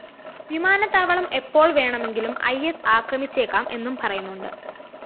വിമാനത്താവളം എപ്പോള്‍ വേണമെങ്കിലും ഇ സ്‌ ആക്രമിച്ചേക്കാം എന്നും പറയുന്നുണ്ട്